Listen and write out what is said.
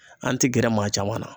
An ti gɛrɛ maa caman na